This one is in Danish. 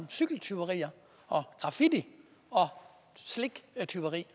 cykeltyverier og graffiti og sliktyveri